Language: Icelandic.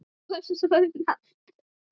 Var svo um aldir.